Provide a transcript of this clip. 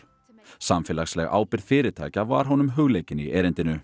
samfélagsleg ábyrgð fyrirtækja var honum hugleikin í erindinu